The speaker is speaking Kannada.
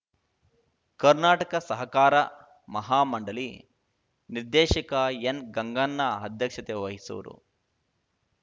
ಕರ್ನಾಟಕ ಸಹಕಾರ ಮಹಾ ಮಂಡಳಿ ನಿರ್ದೇಶಕ ಎನ್ಗಂಗಣ್ಣ ಅಧ್ಯಕ್ಷತೆ ವಹಿಸುವರು